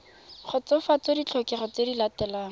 kgotsofatsa ditlhokego tse di latelang